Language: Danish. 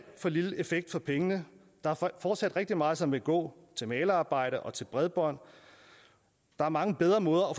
for lille effekt for pengene der er fortsat rigtig meget som vil gå til malerarbejde og til bredbånd der er mange bedre måder